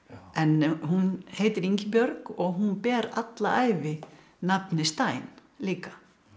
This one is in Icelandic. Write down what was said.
en hún heitir Ingibjörg og hún ber alla ævi nafnið Stein líka